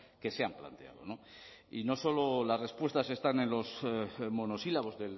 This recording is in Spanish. que se han planteado y no solo las respuestas están en los monosílabos